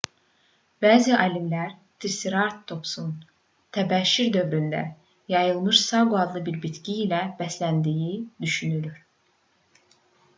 bəzi alimlər triseratopsun təbəşir dövründə yayılmış saqo adlı bir bitki ilə bəsləndiyini düşünür